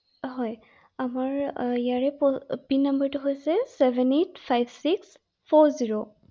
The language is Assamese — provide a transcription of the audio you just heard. হয় আমাৰ ইয়াৰে পিন নম্বৰটো হৈছে চেভেন এইট ফাইভ চিস্ ফ’ৰ জিৰ ৷